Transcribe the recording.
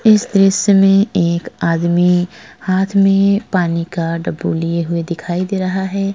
इस दृश्य में एक आदमी हाथ में पानी का डब्बू लिए हुए दिखाई दे रहा है।